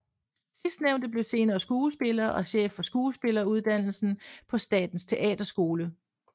Sidstnævnte blev senere skuespiller og chef for skuespilleruddannelsen på Statens Teaterskole